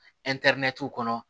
kɔnɔ